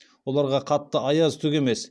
оларға қатты аяз түк емес